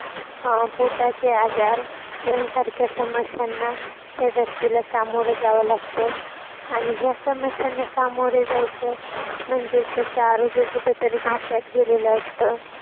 अं पोटाचे आजार यांसारख्या समस्यांना त्या व्यक्तीला सामोर जावं लागत आणि या समस्यांना सामोरे जायचं म्हणजे त्याच आरोग्य कुठंतरी धोक्यात गेलेलं असत.